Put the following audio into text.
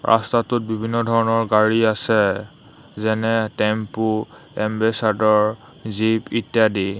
ৰাস্তাটোত বিভিন্ন ধৰণৰ গাড়ী আছে যেনে টেম্পো এম্বেচাদৰ জীপ ইত্যাদি।